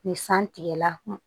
Ni san tigɛla